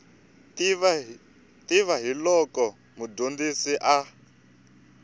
tiva hi loko mudyondzi a